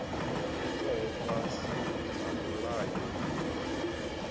itwaho fhasi ha mulayo uyu